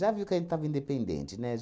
viu que a gente estava independente, né?